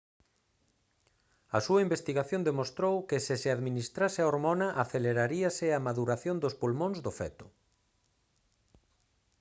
a súa investigación demostrou que se se administrase a hormona aceleraríase a maduración dos pulmóns do feto